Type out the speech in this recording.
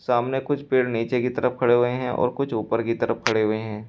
सामने कुछ पेड़ नीचे की तरफ खड़े हुए हैं और कुछ ऊपर की तरफ खड़े हुए हैं।